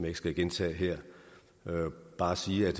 ikke skal gentage her jeg vil bare sige at